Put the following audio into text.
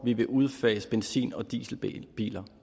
vi vil udfase benzin og dieselbiler